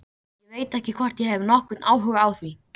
Ég veit ekki hvort ég hef nokkurn áhuga á því.